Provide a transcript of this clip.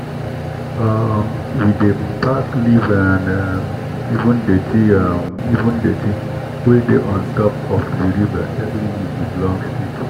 um we dey pack leave and um even dirty um even dirty wey dey on top of di river every week with long stick